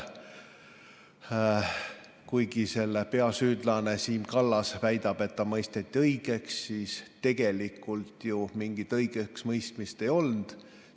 Kuigi selle peasüüdlane Siim Kallas väidab, et ta mõisteti õigeks, siis tegelikult mingit õigeksmõistmist ei olnud.